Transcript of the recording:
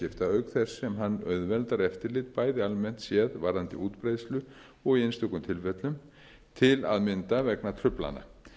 þess sem hann auðveldar eftirlit bæði almennt séð varðandi útbreiðslu og í einstökum tilfellum til að mynda vegna truflana